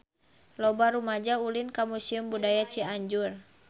Loba rumaja ulin ka Museum Budaya Cianjur